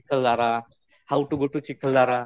Chikhaldara, how to go to Chikhaldara